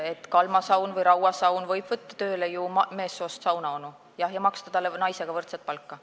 Kalma saun või Raua saun võib võtta tööle ju meessoost saunaonu, jah, ja maksta talle naisega võrdset palka.